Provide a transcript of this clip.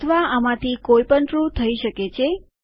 અથવા આમાંથી કોઈ પણ ટ્રૂ થઇ શકે છે